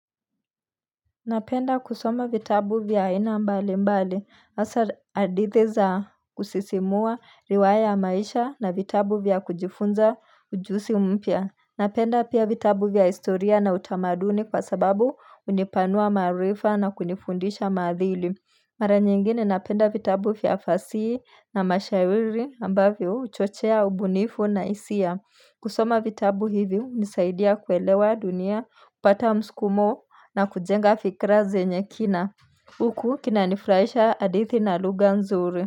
Napenda kusoma vitabu vya aina mbali mbali, hasa hadithi za kusisimua riwaya ya maisha na vitabu vya kujifunza ujuzi mpya. Napenda pia vitabu vya historia na utamaduni kwa sababu hunipanua maarifa na kunifundisha maadili. Mara nyingine napenda vitabu vya fasihi na mashairi ambavyo huchochea ubunifu na hisia. Kusoma vitabu hivi hunisaidia kuelewa dunia, kupata mskumo na kujenga fikra zenye kina Huku kinanifurahisha hadithi na lugha nzuri.